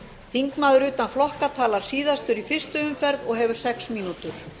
þingmaður utan flokka talar síðastur í fyrstu umferð og hefur sex mínútur